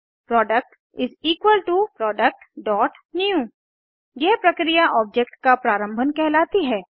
product productन्यू यह प्रक्रिया ऑब्जेक्ट का प्रारंभन कहलाती है